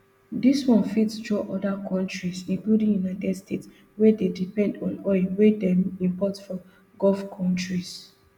dis one fit draw oda kontris including united states wey dey depend on oil wey dem import from gulf kontris